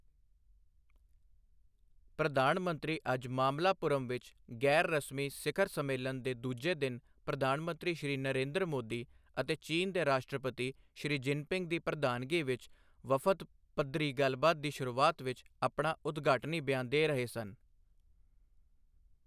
ਪ੍ਰਧਾਨ ਮੰਤਰੀ ਅੱਜ ਮਮੱਲਾਪੁਰਮ ਵਿੱਚ ਗ਼ੈਰ ਰਸਮੀ ਸਿਖਰ ਸੰਮੇਲਨ ਦੇ ਦੂਜੇ ਦਿਨ ਪ੍ਰਧਾਨ ਮੰਤਰੀ ਸ਼੍ਰੀ ਨਰੇਂਦਰ ਮੋਦੀ ਅਤੇ ਚੀਨ ਦੇ ਰਾਸ਼ਟਰਪਤੀ ਸ਼ੀ ਜਿਨਪਿੰਗ ਦੀ ਪ੍ਰਧਾਨਗੀ ਵਿੱਚ ਵਫ਼ਦ ਪੱਧਰੀ ਗੱਲਬਾਤ ਦੀ ਸ਼ੁਰੂਆਤ ਵਿੱਚ ਆਪਣਾ ਉਦਘਾਟਨੀ ਬਿਆਨ ਦੇ ਰਹੇ ਸਨ।